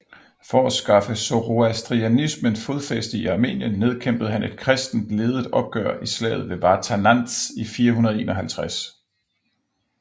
For at skaffe Zoroastrianismen fodfæste i Armenien nedkæmpede han et kristent ledet oprør i slaget ved Vartanantz i 451